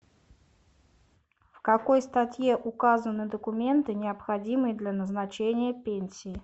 в какой статье указаны документы необходимые для назначения пенсии